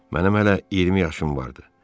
Mənim hələ 20 yaşım vardı.